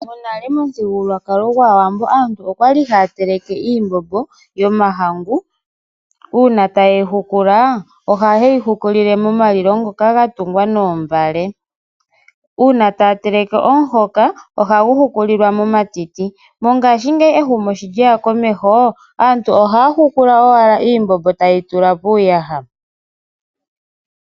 Monale momuthigululwakalo gwaAwambo okwa li haya teleke iimbombo yomahangu, uuna taye yi hukula ohaya hukulile momalilo ngoka ga tungwa noombale. Uuna taya teleke omuhoka ohagu hukulilwa momatiti. Mongaashingeyi ehumokomeho sho lyeya komeho aantu ohaya hukula owala iimbombo taya tula miiyaha.